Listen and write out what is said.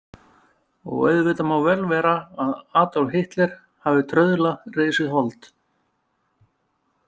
Og auðvitað má vel vera að Adolf Hitler hafi trauðla risið hold.